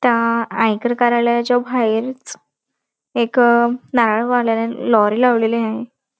त्या आयकर कार्यालयाच्या बाहेरच एक नारळवाल्याने लॉरी लावलेली आहे.